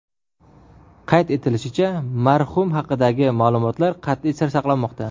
Qayd etilishicha, marhum haqidagi ma’lumotlar qat’iy sir saqlanmoqda.